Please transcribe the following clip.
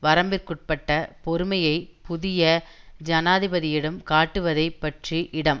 வரம்பிற்குட்பட்ட பொறுமையை புதிய ஜனாதிபதியிடம் காட்டுவதைப் பற்றி இடம்